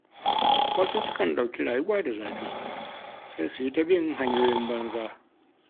Wasu sukan ɗauki rayuwa da zafi, sai su yi ta bin hanyoyin banza.